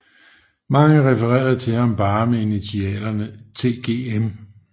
Mange refererede til ham bare med initialerne TGM